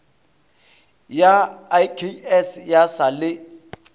ya iks ya sa le